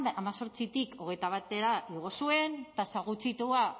hemezortzitik hogeita batera igo zuen tasa gutxitua